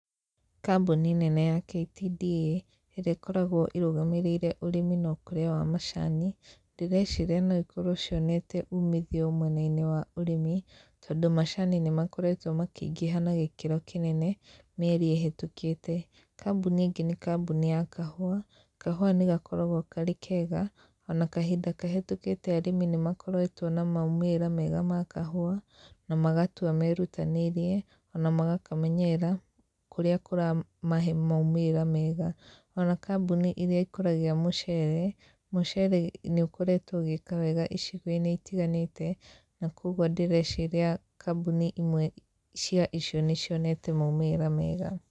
Kambuni nene ya KTDA, ĩrĩa ĩkoragwo ĩrũgamĩrĩire ũrĩmi na ũkũria wa macani ,ndĩreciria noikorwo cionete umithio mwena-inĩ wa ũrĩmi, tondũ macani nĩmakoretwo makĩingĩha na gĩkĩro kĩnene mĩeri ĩhetũkĩte. Kambuni ĩngĩ nĩ kambuni ya kahũa, kahũa nĩgakoragwo karĩ kega ona kahinda kahĩtũkĩte arĩmi nĩmakoretwo na maumĩrĩra mega ma kahũa na magatua merutanĩirie, ona magakamenyerera kũrĩa kũramahe maumĩrĩra mega. Ona kambuni ĩrĩa ĩkũragia mũceere, mũceere nĩ ũkoretwo ũgĩĩka wega icigo-inĩ itiganĩte na kwoguo ndĩreciria kambuni imwe cia icio nĩcionete maumĩrĩra mega.